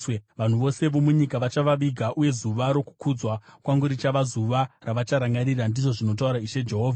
Vanhu vose vomunyika vachavaviga, uye zuva rokukudzwa kwangu richava zuva ravacharangarira, ndizvo zvinotaura Ishe Jehovha.